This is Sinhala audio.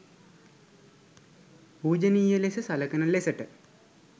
පූජනීය ලෙස සලකන ලෙසට